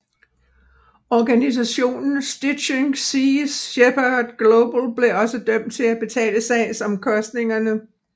Organisationen Stichting Sea Shepherd Global blev også dømt til at betale sagsomkostningerne